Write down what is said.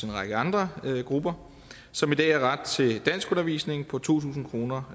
en række andre grupper som i dag har ret til danskundervisning på to tusind kroner